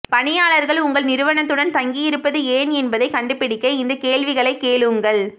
பணியாளர்கள் உங்கள் நிறுவனத்துடன் தங்கியிருப்பது ஏன் என்பதைக் கண்டுபிடிக்க இந்த கேள்விகளைக் கேளுங்கள்